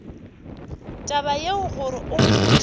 taba yeo gore o mpotše